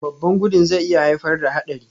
Babban gudun zai iya haifar da haɗari